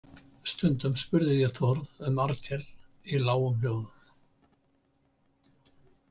Stundum spurði ég Þórð um Arnkel í lágum hljóðum.